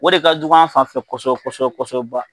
O de ka jugu an fanfɛ kosobɛ kosɛbɛ kosɛbɛba.